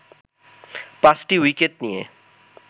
পাঁচটি উইকেট নিয়ে